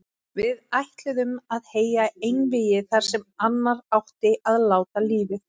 Við ætluðum að heyja einvígi þar sem annar átti að láta lífið.